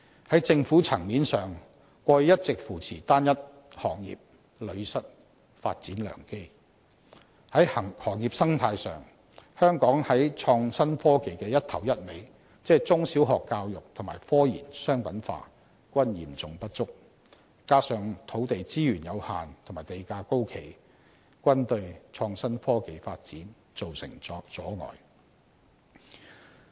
在政府層面上，過去一直扶持單一行業，屢失發展良機；在行業生態上，香港在創新科技的"一頭一尾"，即中小學教育和科研商品化均嚴重不足，加上土地資源有限和地價高企，均對創新科技發展造成阻礙。